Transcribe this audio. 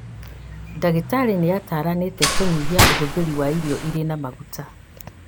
Ndagĩtarĩ nĩataranĩte kũnyihia ũhũthĩri wa irio irĩ na maguta